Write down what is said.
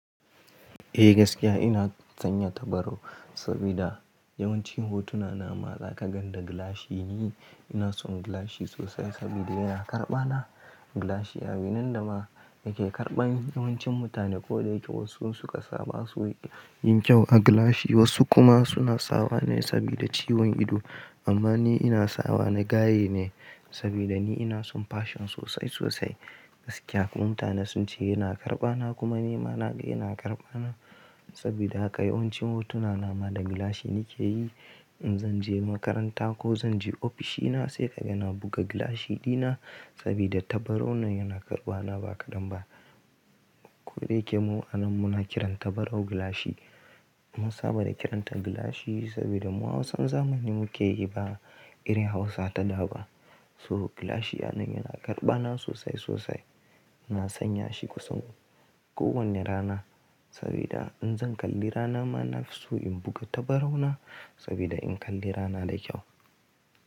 Eh gaskiya ina sanya tabarau saboda yawancin hotuna na ma za ka gan da gilashi ne. Ina son gilashi sosai saboda yana karɓa na. Gilashi a yau nan da ma yake karɓan yawancin mutane. Ko da yake wasu insuka saba su yin kyau a gilashi, wasu kuma suna sawa ne saboda ciwon ido. Amma ni ina sawa na gaye ne saboda ni ina son fashion sosai sosai. Gaskiya mutane sun ce yana karɓa na kuma ni ma na ga yana karɓa na. Saboda haka yawancin hotuna na ma da gilashi nake yi. In zan je makaranta ko zan je ofishina sai ka ga na buga gilashi dina saboda tabarau nan yana karɓa na ba kaɗan ba. Ko da yake mu a nan muna kiran tabarau gilashi, mun saba da kiranta gilashi saboda mu Hausan zamani muke yi ba iri Hausa ta da ba. So gilashi a nan yana karɓa na sosai sosai. Na sanya shi kusan kowane rana saboda in zan kalli rana ma na fi so in buga tabarau na saboda in kalli rana da kyau.